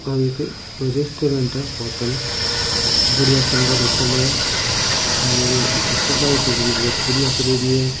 ओ एक कोई रेस्टोरेंट है होटल बढ़िया सुन्दर होटल है और इकी सजावट है जकी बहुत बढ़िया करियोड़ी है।